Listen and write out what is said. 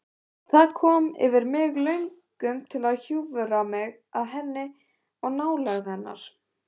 Það kom yfir mig löngun til að hjúfra mig að henni og finna nálægð hennar.